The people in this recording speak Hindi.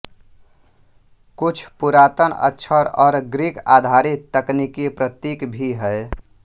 कुछ पुरातन अक्षर और ग्रीकआधारित तकनीकी प्रतीक भी हैं